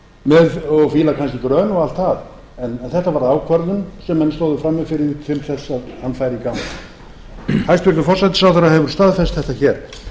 var það en þetta var ákvörðun sem menn stóðu frammi fyrir til þess að hann færi í gang hæstvirtur forsætisráðherra hefur staðfest þetta hér